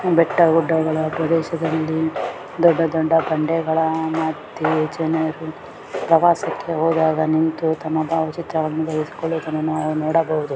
ಬೆಟ್ಟಗುಡ್ಡಗಳ ಪ್ರದೇಶದಲ್ಲಿ ದೊಡ್ಡ ದೊಡ್ಡ ಬಂಡೆಗಳ ಮದ್ಯೆ ಜನರು ಪ್ರವಾಸಕ್ಕೆ ಹೋದಾಗ ನಿಂತು ತಮ್ಮ ಭಾವಚಿತ್ರವನ್ನು ತೆಗೆಸಿಕೊಳ್ಳುವುದನ್ನು ನಾವು ನೋಡಬಹುದು.